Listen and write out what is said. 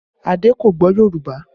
Ade kò gbọ́ Yorùbá